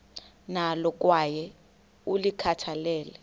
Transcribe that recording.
nalo kwaye ulikhathalele